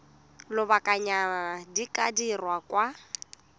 lobakanyana di ka dirwa kwa